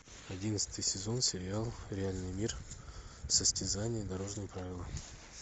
одиннадцатый сезон сериал реальный мир состязание дорожные правила